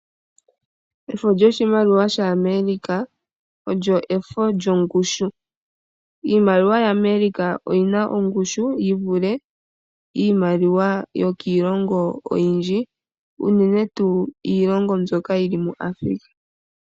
Efo yoshimaliwa sha amerika olyo efo lyongushu, iimaliwa yaAmerika oyina ongushu yivule iimaliwa yokiilongo oyindji unene tuu iilongo mbyoka yili muAfrica.